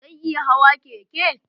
Zan iya hawa keke?